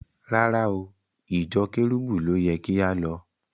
Rárá o, ìjọ Kẹ́rúbù ló yẹ kí á lọ.